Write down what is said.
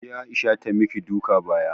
Kije Aisha ta maki duka baya